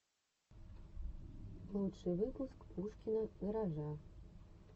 лучший выпуск пушкина гаража